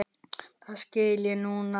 Það skil ég núna.